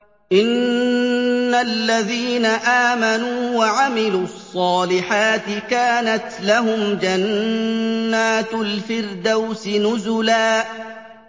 إِنَّ الَّذِينَ آمَنُوا وَعَمِلُوا الصَّالِحَاتِ كَانَتْ لَهُمْ جَنَّاتُ الْفِرْدَوْسِ نُزُلًا